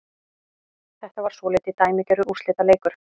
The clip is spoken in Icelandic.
Þetta var svolítið dæmigerður úrslitaleikur